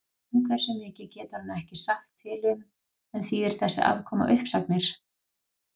Um hversu mikið getur hann ekki sagt til um en þýðir þessi afkoma uppsagnir?